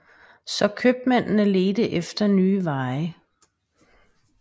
Så købmændene ledte efter nye veje